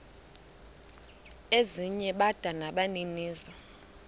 ezinye bada nabaninizo